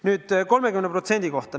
Nüüd 30% kohta.